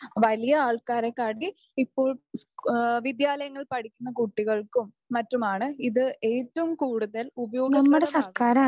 വലിയ ആൾക്കാരെക്കാട്ടിൽ ഇപ്പോൾ സ്‌കൂ ആഹ് വിദ്യാലയങ്ങളിൽ പഠിക്കുന്ന കുട്ടികൾക്കും മറ്റുമാണ് ഇത് ഏറ്റവും കൂടുതൽ ഉപയോഗപ്രദമാകുന്നത്.